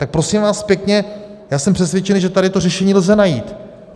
Tak prosím vás pěkně, já jsem přesvědčen, že tady to řešení lze najít.